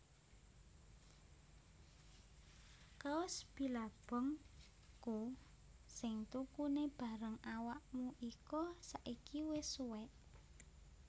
Kaos Billabong ku sing tukune bareng awakmu iko saiki wes suwek